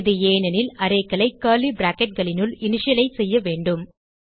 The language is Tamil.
இது ஏனெனில் arrayகளை கர்லி bracketகளினுள் இனிஷியலைஸ் செய்ய வேண்டும்